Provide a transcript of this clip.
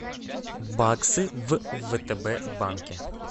баксы в втб банке